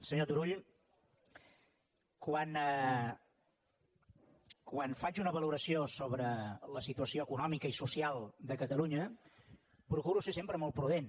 senyor turull quan faig una valoració sobre la situació econòmica i social de catalunya procuro ser sempre molt prudent